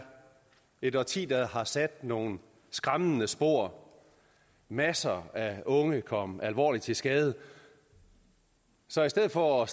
et årti der har sat nogle skræmmende spor masser af unge kom alvorligt til skade så i stedet for at